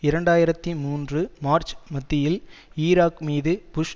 இரண்டு ஆயிரத்தி மூன்று மார்ச் மத்தியில் ஈராக் மீது புஷ்